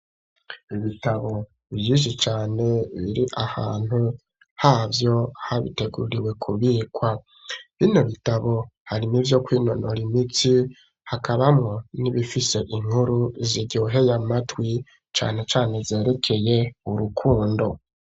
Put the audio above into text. Ibitabo vyishi cane biri ahantu havyo habiteguriwe ku bikwa bino bitabo harimwo ivyo kwinonora imitsi hakabamwo n'ibifise inkuru ziryoheye amatwi cane cane zerekeye urukundo.